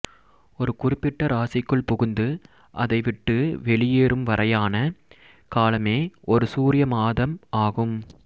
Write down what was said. ஒரு குறிப்பிட்ட இராசிக்குள் புகுந்து அதைவிட்டு வெளியேறும் வரையான காலமே ஒரு சூரிய மாதம் ஆகும்